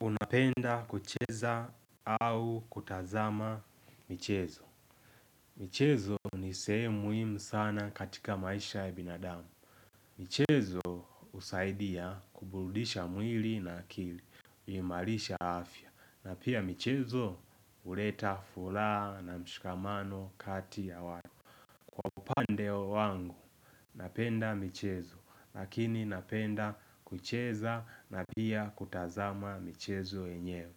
Unapenda kucheza au kutazama michezo michezo nisehemu muhimu sana katika maisha ya binadamu michezo husaidia kuburudisha mwili na akili Imalisha afya na pia michezo uleta fulaha na mshukamano kati ya wata upande wangu Napenda michezo Lakini napenda kucheza na pia kutazama michezo yenyewe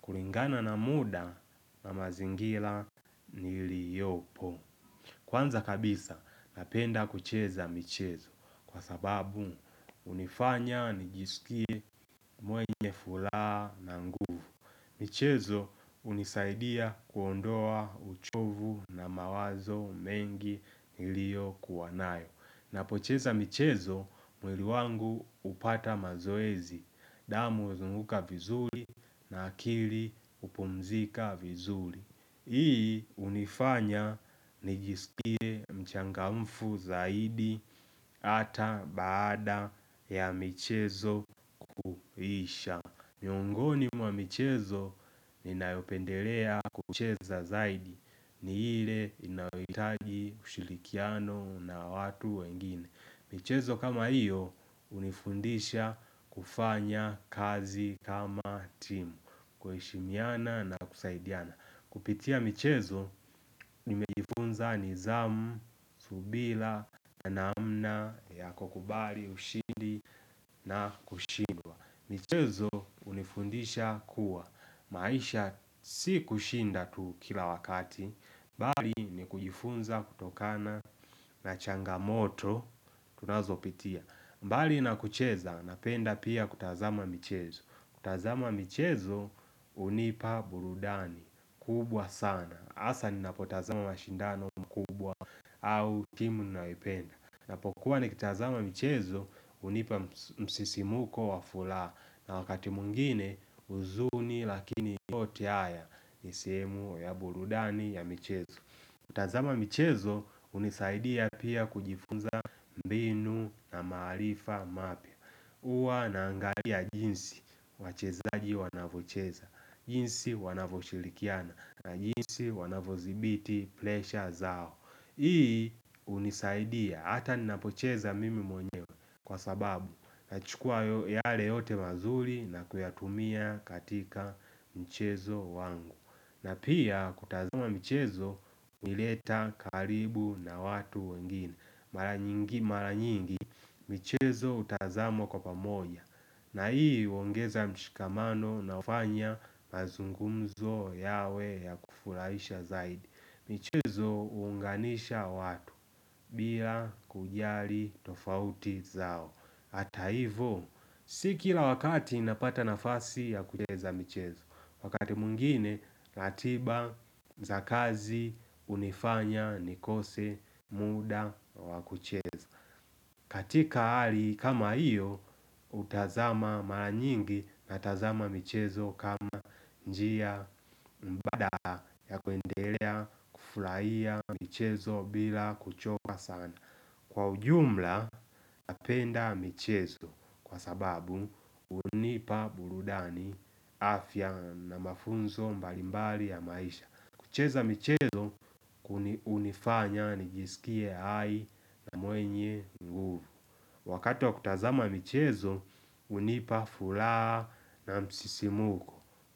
kulingana na muda na mazingila niliopo Kwanza kabisa napenda kucheza michezo Kwa sababu unifanya nijisikie mwenye fulaha na nguvu michezo hunisaidia kuondoa uchovu na mawazo mengi nilio kuwa nayo Napocheza michezo mwili wangu upata mazoezi damu uzunguka vizuri na akili hupumzika vizuri Hii unifanya nijiskie mchangamfu zaidi Ata baada ya michezo kuisha miongoni mwa michezo ninaopendelea kucheza zaidi ni ile inaohitaji ushirikiano na watu wengine michezo kama iyo hunifundisha kufanya kazi kama timu kuheshimiana na kusaidiana Kupitia michezo nimejifunza nizamu, subila, na namna ya kukubali, ushindi na kushindwa michezo hunifundisha kuwa maisha si kushinda tu kila wakati mbali ni kujifunza kutokana na changamoto tunazo pitia mbali na kucheza napenda pia kutazama michezo kutazama michezo hunipa burudani kubwa sana Asa ni napotazama mashindano makubwa au timu nayoioenda ninaapokuwa ni kutazama michezo unipa msisimuko wa fula na wakati mungine uzuni lakini yote haya sehenu ya burudani ya michezo tazama michezo unisaidia pia kujifunza mbinu na maarifa mapya Uwa naangalia jinsi wachezaji wanavocheza jinsi wanavoshirikiana na jinsi wanavozibiti plesha zao Hii unisaidia hata ninapocheza mimi mwonyewe kwa sababu nachukua yale yote mazuri na kuyatumia katika mchezo wangu na pia kutazama mchezo unileta karibu na watu wengine Mara nyingi michezo utazama kwa pamoja na hii uongeza mshikamano na ufanya mazungumzo yawe ya kufurahisha zaidi Mchezo hunganisha watu bila kujali tofauti zao Hata hivo, si kila wakati napata nafasi ya kucheza mchezo Wakati mwingine, ratiba, za kazi, hunifanya, nikose, muda, wa kucheza katika hali kama hiyo, utazama mara nyingi na tazama mchezo kama njia Mbada ya kuendelea, kufurahia mchezo bila kuchoka sana Kwa ujumla napenda michezo kwa sababu hunipa burudani afya na mafunzo mbalimbali ya maisha kucheza michezo kuni hunifanya nijisikie hai na mwenye nguvu Wakati kutazama michezo hunipa fulaha na msisimuko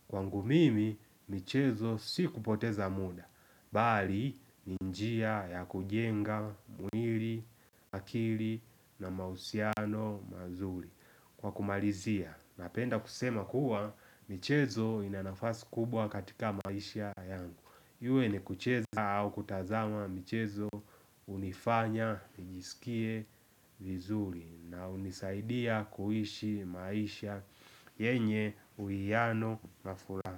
Kwangu mimi michezo si kupoteza muda, bali ninnjia ya kujenga mwili, akili na mahusiano mazuri Kwa kumalizia, napenda kusema kuwa michezo ina nafasi kubwa katika maisha yangu iwe ni kucheza au kutazama mchezo hunifanya nijisikie vizuri na hunisaidia kuhishi maisha yenye uiyano na furaha.